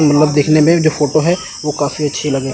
मतलब दिखने में जो फ़ोटो है वो काफी अच्छी लगे--